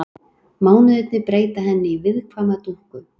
Mánuðirnir breyta henni í viðkvæma dúkku.